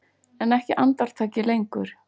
En ekki andartaki lengur.